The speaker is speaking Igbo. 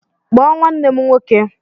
Kpọọ nwanne m nwoke